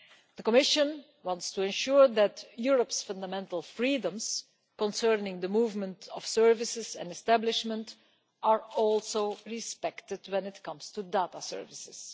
The Commission wants to ensure that Europe's fundamental freedoms concerning the movement of services and establishment are also respected when it comes to data services.